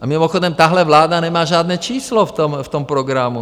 A mimochodem, tahle vláda nemá žádné číslo v tom programu.